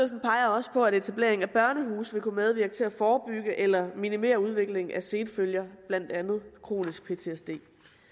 også på at etableringen af børnehuse vil kunne medvirke til at forebygge eller minimere udviklingen af senfølger blandt andet kronisk ptsd